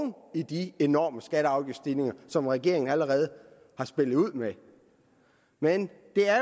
i de enorme skatte og afgiftsstigninger som regeringen allerede har spillet ud med men det er